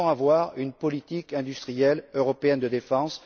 Nous devons avoir une politique industrielle européenne de défense.